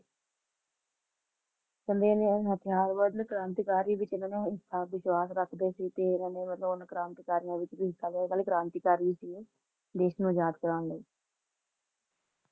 ਤੇ ਇਨਾ ਨੇ ਮਤਲਬ ਕ੍ਰਾਂਤੀਕਾਰੀ ਵੀ ਸੀ ਨਾ ਤੇ ਊਨਾ ਨੇ ਕ੍ਰਾਂਤੀਕਾਰੀਆਂ ਵਿਚ ਵੀ ਹਿੱਸਾ ਲਿਆ ਸੀ ਤੇ ਕ੍ਰਾਂਤੀਕਾਰੀ ਵੀ ਸੀ ਦੇਸ਼ ਨੂੰ ਆਜ਼ਾਦ ਕਰਵਾਉਣ ਲਈ